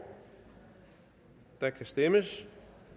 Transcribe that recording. der kan stemmes